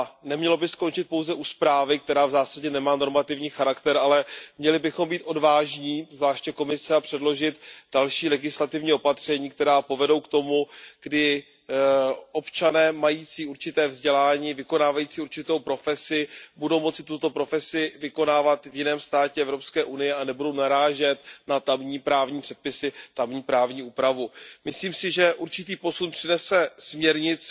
Nemělo by se skončit pouze u zprávy, která v zásadě nemá normativní charakter, ale měli bychom být odvážní, zvláště Komise, a předložit další legislativní opatření, která povedou k tomu, že občané mající určité vzdělání, vykonávající určitou profesi, budou moci tuto profesi vykonávat v jiném státě EU a nebudou narážet na tamní právní předpisy, tamní právní úpravu. Myslím si, že určitý posun přinese směrnice